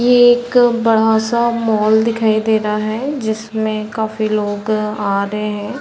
ये एक बड़ा- सा मॉल दिखाई दे रहा है जिसमें काफी लोग आ रहे हैं ।